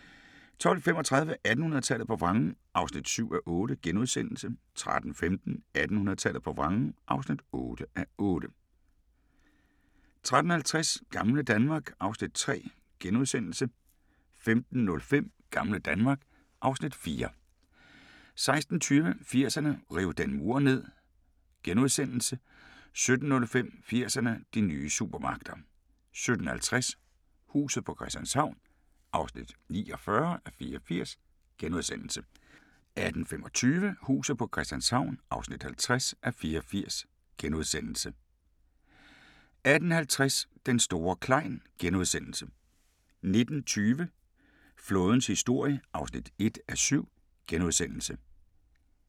12:35: 1800-tallet på vrangen (7:8)* 13:15: 1800-tallet på vrangen (8:8) 13:50: Gamle Danmark (Afs. 3)* 15:05: Gamle Danmark (Afs. 4) 16:20: 80'erne: Riv den mur ned * 17:05: 80'erne: De nye supermagter 17:50: Huset på Christianshavn (49:84)* 18:25: Huset på Christianshavn (50:84)* 18:50: Den store Klein * 19:20: Flådens historie (1:7)*